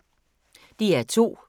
DR2